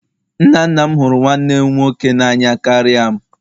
Nna nna m hụrụ nwanne m nwoke n'anya karịa m.